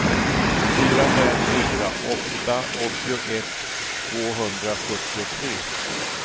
fyra fem fyra åtta åttioett tvåhundrasjuttiotre